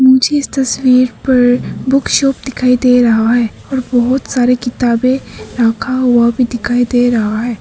मुझे तस्वीर पर बुक शॉप दिखाई दे रहा है और बहुत सारे किताबें रखा हुआ भी दिखाई दे रहा है।